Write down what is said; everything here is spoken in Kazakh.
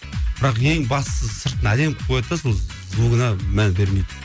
бірақ ең бастысы сыртын әдемі қылып қояды да сол звугына мән бермейді